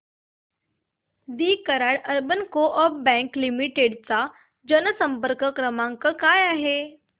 दि Karad urban co-op bank limited चा जनसंपर्क क्रमांक काय आहे